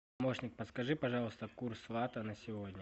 помощник подскажи пожалуйста курс лата на сегодня